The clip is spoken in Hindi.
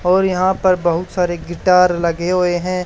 और यहां पर बहुत सारे गिटार लगे हुए हैं।